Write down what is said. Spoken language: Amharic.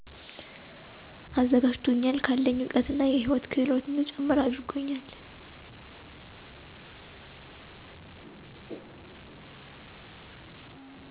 አዘጋጂቶኛል ከአለኝ እውቀት እና የህይወት ክህሎት እንድጨምር አድርጎኛል።